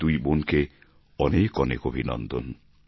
ওই দুই বোনকে অনেক অনেক অভিনন্দন